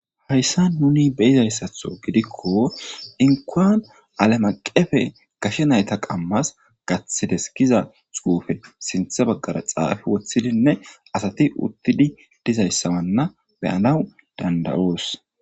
Hayssa nuni beyizayssatho gidikko inquan alamaqefe kashe nayta qammas gathides kiza xuufe sinthe baggara xaafe woththidinne asati uttidi dizayssawanna beyanawu dandayoos.